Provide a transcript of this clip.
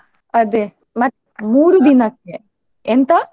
ಅದೆ ಮತ್ತ್ ಮೂರು ಎಂತ?